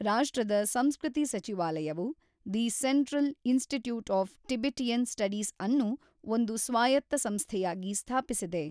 ರಾಷ್ಟ್ರದ ಸಂಸ್ಕೃತಿ ಸಚಿವಾಲಯವು, the central institute of Tibetan ಸ್ಟಡೀಸ್‌ಅನ್ನು ಒಂದು ಸ್ವಾಯತ್ತ ಸಂಸ್ಥೆಯಾಗಿ ಸ್ಥಾಪಿಸಿದೆ.